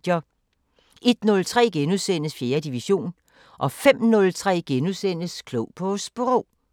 01:03: 4. division * 05:03: Klog på Sprog *